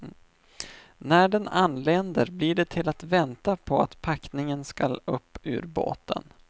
När den anländer blir det till att vänta på att packningen ska upp ur båten.